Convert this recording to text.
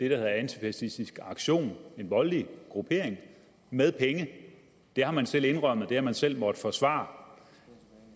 hedder antifascistisk aktion en voldelig gruppering med penge det har man selv indrømmet det har man selv måttet forsvare